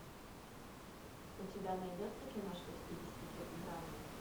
у тебя найдется киношка в стилистике драмы